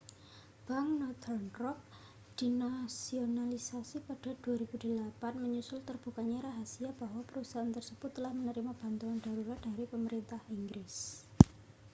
bank northern rock dinasionalisasi pada 2008 menyusul terbukanya rahasia bahwa perusahaan tersebut telah menerima bantuan darurat dari pemerintah inggris